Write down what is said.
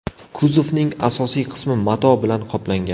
Kuzovning asosiy qismi mato bilan qoplangan.